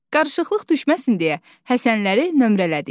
Qarışıqlıq düşməsin deyə Həsənləri nömrələdik.